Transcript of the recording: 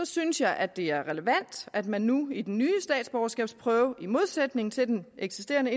synes jeg at det er relevant at man nu i den nye statsborgerskabsprøve i modsætning til den eksisterende